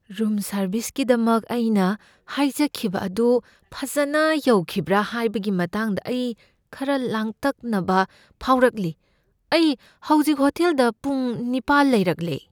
Room ꯁꯔꯕꯤꯁꯀꯤꯗꯃꯛ ꯑꯩꯅ ꯍꯥꯏꯖꯈꯤꯕ ꯑꯗꯨ ꯐꯖꯅ ꯌꯧꯈꯤꯕ꯭ꯔꯥ ꯍꯥꯏꯕꯒꯤ ꯃꯇꯥꯡꯗ ꯑꯩ ꯈꯔ ꯂꯥꯡꯇꯛꯅꯕ ꯐꯥꯎꯔꯛꯂꯤ꯫ ꯑꯩ ꯍꯧꯖꯤꯛ ꯍꯣꯇꯦꯜꯗ ꯄꯨꯡ ꯅꯤꯄꯥꯜ ꯂꯩꯔꯛꯂꯦ꯫